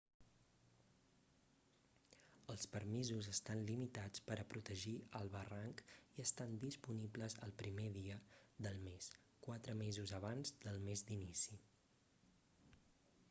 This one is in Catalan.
els permisos estan limitats per a protegir el barranc i estan disponibles el 1r dia del mes quatre mesos abans del mes d'inici